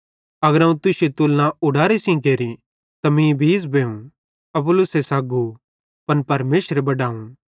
अगर अवं तुश्शी तुलना ऊडारे सेइं केरि त मीं बीज़ बेवं अपुल्लोसे सग्गू पन परमेशरे बडावं